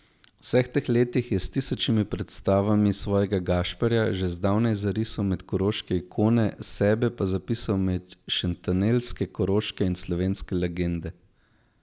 V vseh teh letih je s tisočimi predstavami svojega Gašperja že zdavnaj zarisal med koroške ikone, sebe pa zapisal med šentanelske, koroške in slovenske legende.